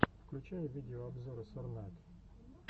включай видеообзоры сорнайд